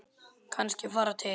Kannski fara til